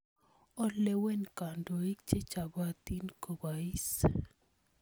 Olewen kandoik che chopotin kopois.